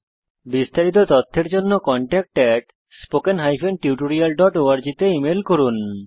বিস্তারিত তথ্যের জন্য contactspoken tutorialorg তে ইমেল করুন